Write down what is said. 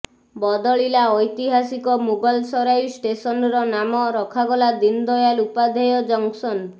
ବଦଳିଲା ଐତିହାସିକ ମୁଗଲସରାଇ ଷ୍ଟେସନ୍ର ନାମ ରଖାଗଲା ଦୀନଦୟାଲ ଉପାଧ୍ୟାୟ ଜଙ୍କ୍ସନ୍